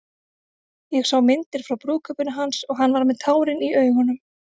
Ég sá myndir frá brúðkaupinu hans og hann var með tárin í augunum.